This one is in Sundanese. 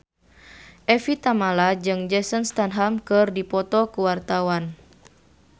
Evie Tamala jeung Jason Statham keur dipoto ku wartawan